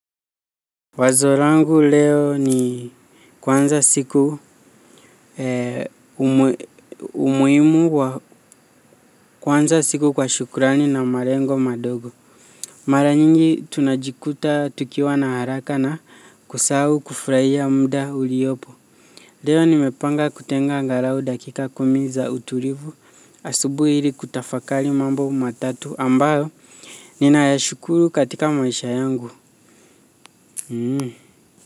Wazo langu leo ni kuanza siku umuhimu wa kuanza siku kwa shukurani na malengo madogo. Mara nyingi tunajikuta tukiwa na haraka na kusahau kufurahia mda uliopo. Leo nimepanga kutenga angalau dakika kumi za utulivu asubuhi ili kutafakari mambo matatu ambayo. Nina ya shukuru katika maisha yangu. Hmm.